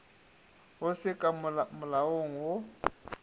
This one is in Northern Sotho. go se ka molaong go